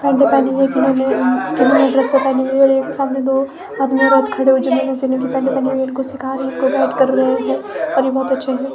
पता नहीं जिन्होंने एक ही साथ में दो आदमी औरत खड़े हुई है जिन्होंने उसी रंग की पैंट पहनी हुई है और ये उनको कुछ सीख रही है इनको डाट कर रहे है और ये बहोत अच्छे हैं।